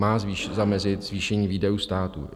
Má zamezit zvýšení výdajů státu.